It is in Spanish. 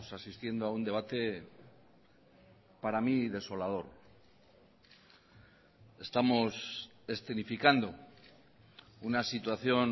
asistiendo a un debate para mí desolador estamos escenificando una situación